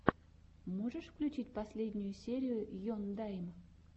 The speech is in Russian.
можешь включить последнюю серию ендайм